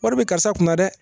Wari bɛ karisa kunna dɛ